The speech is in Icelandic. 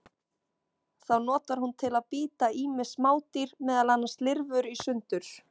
Þá notar hún til að bíta ýmis smádýr, meðal annars lirfur, í sundur.